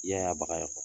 Yaya baga ye